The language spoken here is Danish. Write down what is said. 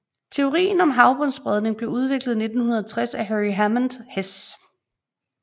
Teorien om havbundsspredning blev udviklet i 1960 af Harry Hammond Hess